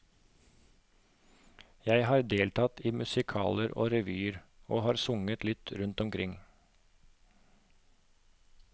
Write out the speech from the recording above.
Jeg har deltatt i musikaler og revyer, og har sunget litt rundt omkring.